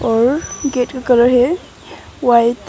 और गेट का कलर है व्हाइट।